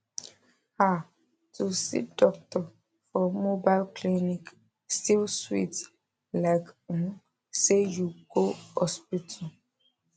ah to see doctor for mobile clinic still sweet like um say you go hospital